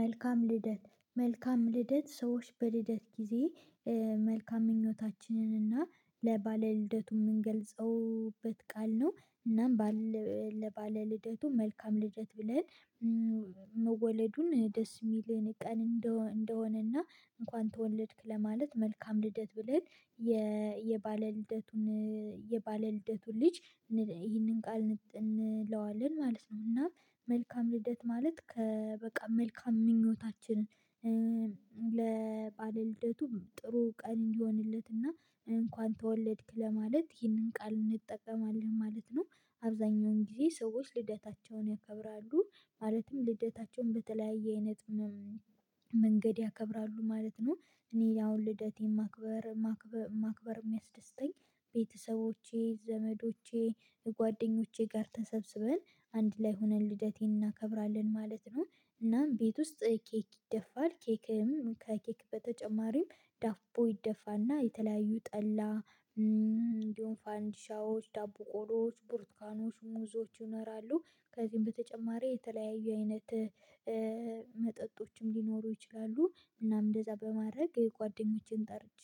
መልካም ልደት መልካም ልደት ሰዎች በልደት ጊዜ መልካም ምኞታችንን እና ለባለ ልደቱ የምንገልጽበት ቃል ነው እናም ባለ ለባለ ልደቱ መልካም ልደት ብለን መወለዱን ደስ የሚለን ቀን እንደሆነና እንኳን ተወለድክ ለማለት መልካም ልደት ብለን የባለ ልደቱን የባለ ልደቱን ልጅ ይሄንን ቃል እንለዋለን ማለት ነው። እና መልካም ልደት ማለት ከ በቃ መልካም ምኞታችን ለባለልደቱም ጥሩ ቀን እንዲሆንለትና እንኳን ተወለድክ ለማለት ይህንን ቃል እንጠቀማለን ማለት ነው። አብዛኛውን ጊዜ ሰዎች ልደታቸውን ያከብራሉ ማለትም ልደታቸውን በተለያየ አይነት መንገድ ያከብራሉ ማለት ነው። እኔ አሁን ልደቴን ማክበር ማክበር የሚያስደስተኝ ቤተሰቦቼ ዘመዶቼ ጓደኞቼ ጋር ተሰብስበን አንድ ላይ ሆነን ልደቴን እናከብራለን ማለት ነው። እናም ቤት ውስጥ ኬክ ይደፋል ኬክም ከኬክ በተጨማሪም ዳቦ ይደፋና የተለያዩ ጠላ እንዲሁም ፋንዲሻዎች፣ ዳቦ ቆሎዎች፣ ቡርትካኖች፣ ሙዞች ይኖራሉ። ከዚህም በተጨማሪ የተለያዩ አይነት መጠጦችም ሊኖሩ ይችላሉ። እናም እንደዛ በማድረግ ጓደኞቼን ጠርቼ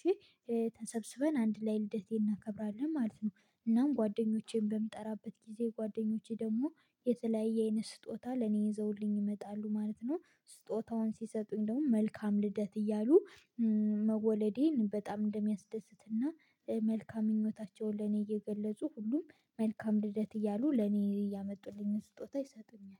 ተሰብስበን አንድ ላይ ልደቴን እናከብራለን ማለት ነው። እናም ጓደኞቼን በምጠራበት ጊዜ ጓደኞቼ ደግሞ የተለያየ አይነት ስጦታ ለኔ ይዘውልኝ ይመጣሉ ማለት ነው። ስጦታውን ሲሰጡኝ ደግሞ መልካም ልደት እያሉ መወለዴን በጣም እንደሚያስደስትና መልካም ምኞታቸውን ለኔ እየገለጹ ሁሉም መልካም ልደት እያሉ ለኔ እያመጡልኝ ስጦታ ይሰጡኛል